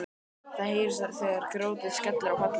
Það heyrist þegar grjótið skellur á pallinn.